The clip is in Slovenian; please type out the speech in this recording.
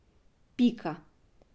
Pika.